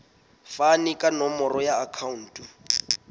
fane ka nomoro ya akhauntu